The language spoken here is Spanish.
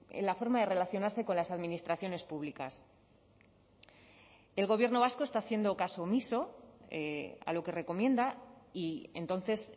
en la forma de relacionarse con las administraciones públicas el gobierno vasco está haciendo caso omiso a lo que recomienda y entonces